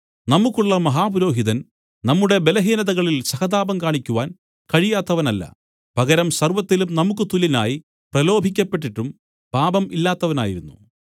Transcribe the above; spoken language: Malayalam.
നമുക്കുള്ള മഹാപുരോഹിതൻ നമ്മുടെ ബലഹീനതകളിൽ സഹതാപം കാണിക്കുവാൻ കഴിയാത്തവനല്ല പകരം സർവ്വത്തിലും നമുക്കു തുല്യനായി പ്രലോഭിക്കപ്പെട്ടിട്ടും പാപം ഇല്ലാത്തവനായിരുന്നു